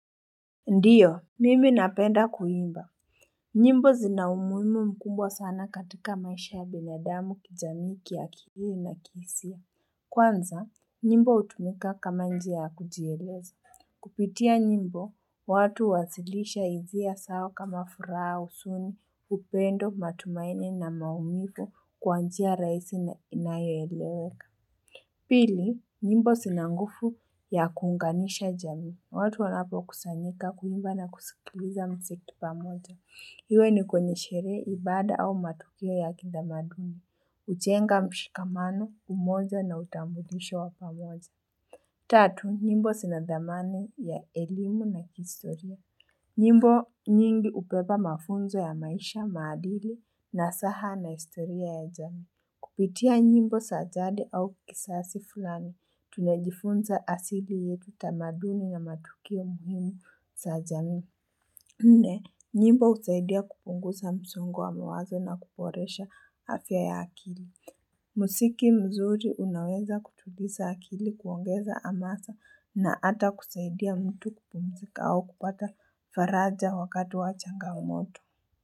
Ndiyo, mimi napenda kuimba. Nyimbo zina umuhimu mkumbwa sana katika maisha ya binadamu kijamii, kiakili na kihisia. Kwanza, nyimbo utumika kama njia ya kujielezi. Kupitia nyimbo, watu huwasilisha hisia zao kama furaha huzuni, upendo, matumaini na maumivu kwa njia rahisi na inayoeleweka. Pili, nyimbo zina nguvu ya kuunganisha jamii. Watu wanapo kusanyika, kuimba na kusikiliza mziki pamoja. Iwe ni kwenye sherehe, ibada au matukio ya kitamaduni. Hujenga mshikamano, umoja na utambulisho wa pamoja. Tatu, nyimbo zina dhamana ya elimu na kihistoria. Nyimbo nyingi hubeba mafunzo ya maisha, maadili nazaha na historia ya jamii. Kupitia nyimbo za jadi au kizazi fulani, tunajifunza asili yetu tamaduni na matukio muhimu za jamii. Nne, nyimbo husaidia kupunguza msongo wa mawazo na kuboresha afya ya akili. Muziki mzuri unaweza kutuliza akili kuongeza hamasa na hata kusaidia mtu kupumzika au kupata faraja wakati wa changamoto.